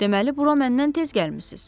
Deməli bura məndən tez gəlmisiz?